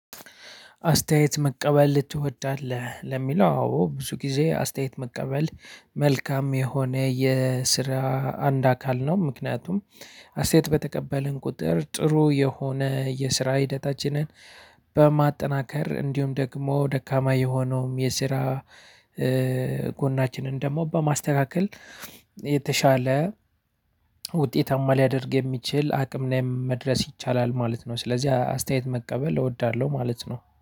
አስተያየት መቀበል ትወዳለህ ለሚለው አዎ ብዙ ጊዜ አስተያየት መቀበል መልካም የሆነ የስራ አንድ አካል ነው። ምክንያቱም አስተያየት በተቀበልን ቁጥር ጥሩ የሆነ የስራ ሂደታችንን በማጠናከር እንዲሁም ደግሞ ደካማ የሆነውም የስራ ጎናችንን ደግሞ በማስተካከል የተሻለ ውጤታማ ሊያደርግ የሚችል አቅም ላይ መድረስ ይቻላል ማለት ነው። ስለዚህ አስተያየት መቀበል እወዳለሁ ማለት ነው